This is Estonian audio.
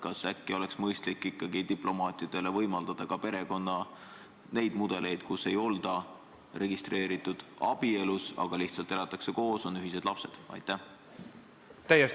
Kas äkki oleks mõistlik ikkagi diplomaatidele võimaldada ka perekonna neid mudeleid, kui ei olda registreeritud abielus, vaid lihtsalt elatakse koos ja on ühised lapsed?